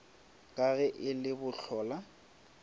ka ge e le bohlola